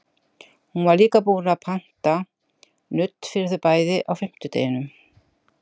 Hún var líka búin að panta nudd fyrir þau bæði á fimmtudeginum.